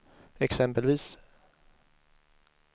exempelvis